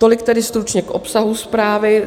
Tolik tedy stručně k obsahu zprávy.